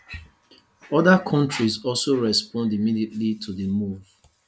oda kontris also respond immediately to di move